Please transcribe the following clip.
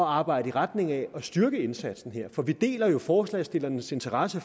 arbejde i retning af at styrke indsatsen her for vi deler jo forslagsstillernes interesse